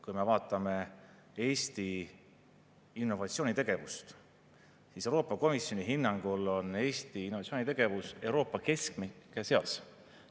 Kui me vaatame Eesti innovatsioonitegevust, siis Euroopa Komisjoni hinnangul on Eesti innovatsioonitegevus Euroopa keskmike seas.